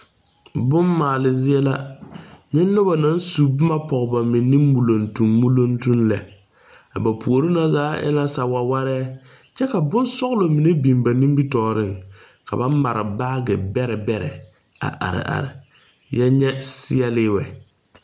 Boŋ maale zie la. Nyɛ noba naŋ su boma poge ba meni muluŋtum muluŋtum lɛ. A ba poore na zaa e la sa wawarɛ kyɛ ka boŋ sɔglɔ mene biŋ ba nimitooreŋ. Ka ba mare baagi bɛrɛ bɛrɛ a are are. Yɛ nyɛ seɛli wɛ